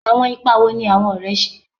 Awọn ipa wo ni awọn ọrẹ ṣe?